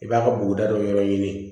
I b'a ka buguda dɔ wɛrɛ ɲini